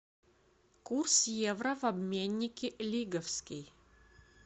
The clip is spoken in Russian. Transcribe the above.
курс евро в обменнике лиговский